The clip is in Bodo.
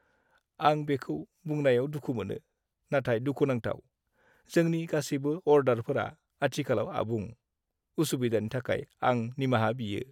आं बेखौ बुंनायाव दुखु मोनो नाथाय दुखुनांथाव, जोंनि गासैबो अर्डारफोरा आथिखालाव आबुं। उसुबिदानि थाखाय आं निमाहा बियो।